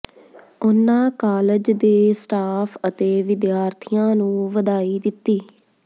ਉਨ੍ਹਾਂ ਕਾਲਜ ਦੇ ਸਟਾਫ਼ ਅਤੇ ਵਿਦਿਆਰਥੀਆਂ ਨੂੰ ਵਧਾਈ ਦਿੱਤੀ